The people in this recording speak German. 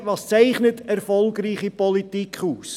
Was zeichnet erfolgreiche Politik aus?